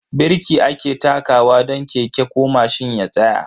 Birki ake takawa don keke ko mashin ya tsaya.